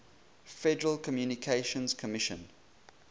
federal communications commission